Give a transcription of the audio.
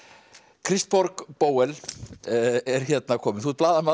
Kristbjörg Bóel er hérna komin þú ert blaðamaður